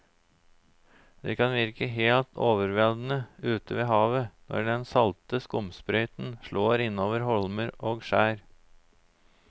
Det kan virke helt overveldende ute ved havet når den salte skumsprøyten slår innover holmer og skjær.